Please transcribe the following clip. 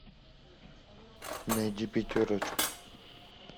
найди пятерочку